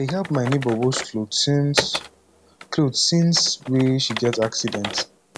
i dey help my nebor wash cloth since cloth since wey she get accident